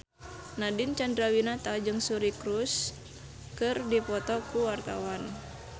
Nadine Chandrawinata jeung Suri Cruise keur dipoto ku wartawan